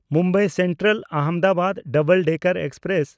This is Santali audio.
Mumbai ᱥᱮᱱᱴᱨᱟᱞ–ᱟᱦᱚᱢᱫᱟᱵᱟᱫ double decker express